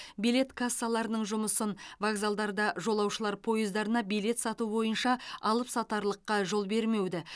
билет кассаларының жұмысын вокзалдарда жолаушылар пойыздарына билет сату бойынша алыпсатарлыққа жол бермеуді